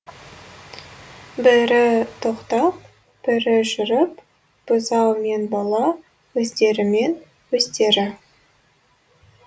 бірі тоқтап бірі жүріп бұзау мен бала өздерімен өздері